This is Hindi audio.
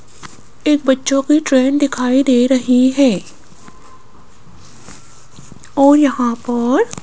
एक बच्चों की ट्रेन दिखाई दे रही है और यहां पर --